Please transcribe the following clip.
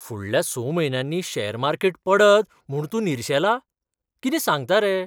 फुडल्या स म्हयन्यांनी शॅर मार्केट पडत म्हूण तूं निर्शेला? कितें सांगता रे?